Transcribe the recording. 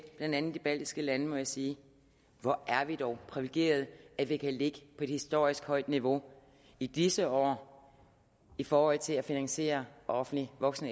blandt andet de baltiske lande må jeg sige hvor er vi dog privilegerede at vi kan ligge på et historisk højt niveau i disse år i forhold til at finansiere offentlig voksen